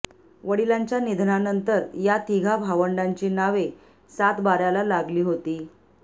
वडिलांच्या निधनानंतर या तिघा भावंडांची नावे सातबाऱ्याला लागली होती